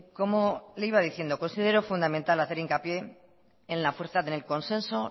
como le iba diciendo considero fundamental hacer hincapié en la fuerza en el consenso